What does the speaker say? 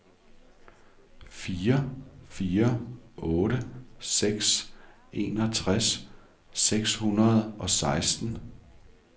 fire fire otte seks enogtres seks hundrede og seksten